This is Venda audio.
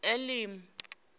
elimi